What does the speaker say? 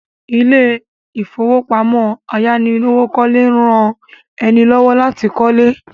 Ilé ìfowópamọ́ ayánilówókọ́lé ń rán ẹni lọ́wọ́ láti kọ́lé